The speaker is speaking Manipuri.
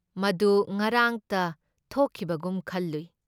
ꯃꯗꯨ ꯉꯔꯥꯡꯇ ꯊꯣꯛꯈꯤꯕꯒꯨꯝ ꯈꯜꯂꯨꯏ ꯫